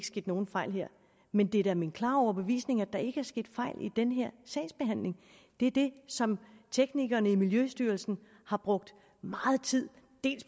sket nogen fejl her men det er da min klare overbevisning at der ikke er sket fejl i den her sagsbehandling det er det som teknikerne i miljøstyrelsen har brugt meget tid